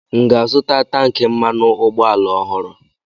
M ga-azụta tankị mmanụ ụgbọala ọhụrụ?